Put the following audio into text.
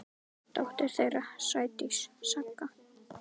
Dóttir þeirra: Sædís Saga.